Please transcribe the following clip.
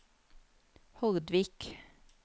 Hordvik